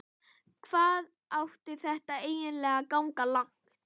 Hvað átti þetta eiginlega að ganga langt?